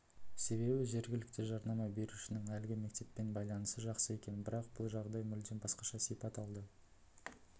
себебі жергілікті жарнама берушінің әлгі мектеппен байланысы жақсы екен бірақ бұл жағдай мүлдем басқаша сипат алды